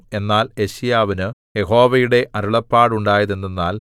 എന്നാൽ യെശയ്യാവിനു യഹോവയുടെ അരുളപ്പാടുണ്ടായതെന്തെന്നാൽ